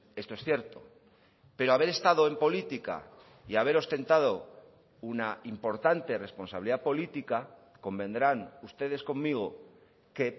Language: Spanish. esto es cierto pero haber estado en política y haber ostentado una importante responsabilidad política convendrán ustedes conmigo que